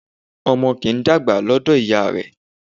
Ọmọ kì í dàgbà lọ́dọ̀ ìyá rẹ